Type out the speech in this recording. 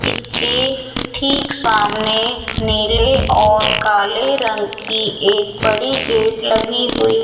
इसके ठीक सामने नीले और काले रंग की एक बड़ी गेट लगी हुई --